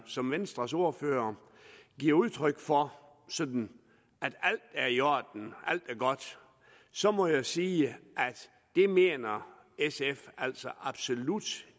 som venstres ordfører giver udtryk for sådan at alt er i orden alt er godt så må jeg sige at det mener sf altså absolut